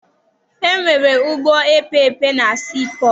E nwere ụgbọ epeepe na sii pọtụ.